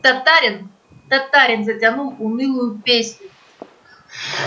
татарин татарин затянул унылую песню